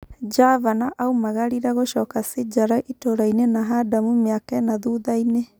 Javana aumagarire gucoka Sijara itũrainĩ na Hadamu mĩaka ĩna thuthainĩ.